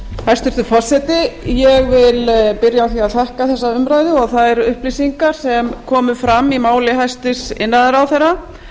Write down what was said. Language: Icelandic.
hæstvirtur forseti ég vil byrja á að þakka þessa umræðu og þær upplýsingar sem komu fram í máli hæstvirts iðnaðarráðherra